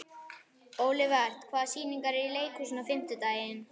Olivert, hvaða sýningar eru í leikhúsinu á fimmtudaginn?